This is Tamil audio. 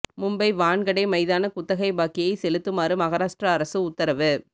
மும்பை வான்கடே மைதான குத்தகை பாக்கியை செலுத்துமாறு மகாராஷ்டிரா அரசு உத்தரவு